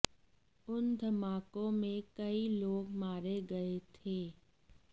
उन धमाकों में कई लोग मारे गए थे